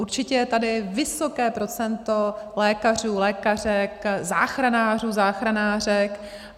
Určitě je tady vysoké procento lékařů, lékařek, záchranářů, záchranářek.